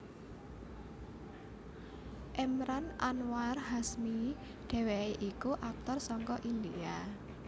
Emraan Anwar Hashmi dhèwèké iku aktor saka India